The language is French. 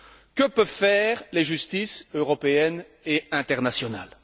Que peuvent faire les justices européennes et internationales?